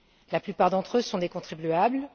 La plupart d'entre eux sont des contribuables.